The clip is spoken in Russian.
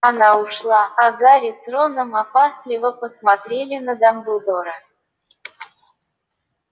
она ушла а гарри с роном опасливо посмотрели на дамблдора